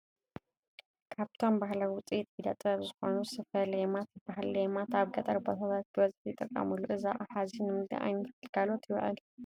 ካብቶም ባህላዊ ውፅኢት ኢደ ጥበብ ዝኾኑ ስፈ ለይማት ይባሃል፡፡ ለይማት ኣብ ገጠር ቦታታት ብበዝሒ ይጥቀምሉ፡፡ እዚ ኣቕሓ እዚ ንምንታይ ዓይነት ግልጋሎት ይውዕል?